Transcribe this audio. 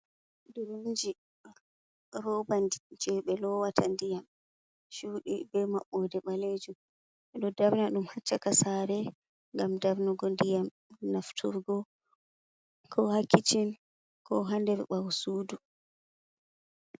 "Duronji" roba je be lowata ndiyam shudi be maɓɓode ɓalejum ɓeɗo ɗo darna dum ha chaka saare ngam darnugo ndiyam nafturgo ko ha kicin ko ha nder bawosudu.